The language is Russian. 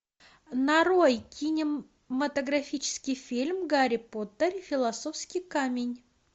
нарой кинематографический фильм гарри поттер и философский камень